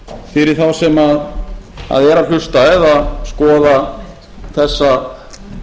fyrir þá sem eru að hlusta eða skoða þessa